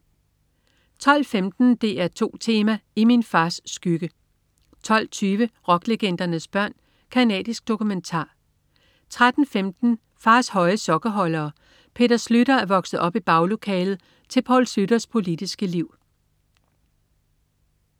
12.15 DR2 Tema: I min fars skygge 12.20 Rocklegendernes børn. Canadisk dokumentar 13.15 Fars høje sokkeholdere. Peter Schlüter er vokset op i baglokalet til Poul Schlüters politiske liv